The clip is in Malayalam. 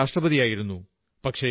അദ്ദേഹം രാഷ്ട്രപതിയായിരുന്നു